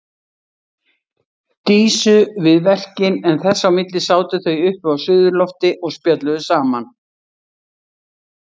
Dísu við verkin en þess á milli sátu þau uppi á suðurlofti og spjölluðu saman.